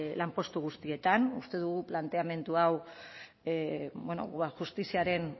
lanpostu guztietan uste dugu planteamendu hau justiziaren